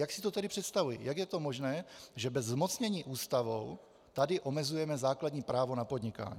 Jak si to tedy představují, jak je to možné, že bez zmocnění Ústavou tady omezujeme základní právo na podnikání.